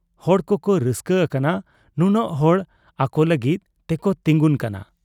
ᱦᱚᱲ ᱠᱚᱠᱚ ᱨᱟᱹᱥᱠᱟᱹ ᱟᱠᱟᱱᱟ ᱱᱩᱱᱟᱹᱜ ᱦᱚᱲ ᱟᱠᱚ ᱞᱟᱹᱜᱤᱫ ᱛᱮᱠᱚ ᱛᱤᱸᱜᱩᱱ ᱠᱟᱱᱟ ᱾